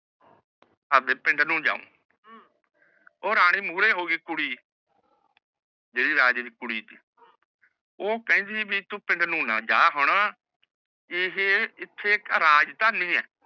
ਆਪਣੇ ਪਿੰਡ ਨੂ ਜਾਉ ਊਹ ਰਾਨੀ ਮੁਰੀ ਹੋ ਗਯੀ ਕੁੜੀ ਜੈਰੀ ਰਾਜੇ ਦੀ ਕੁੜੀ ਓਹ ਕੇੰਦਿ ਵੀ ਤੂ ਪਿੰਡ ਨੂ ਨਾ ਜਾ ਹੁਣ ਆਹੇ ਐਥੇ ਰਾਜ ਤੇਹ ਨੀ ਆਹ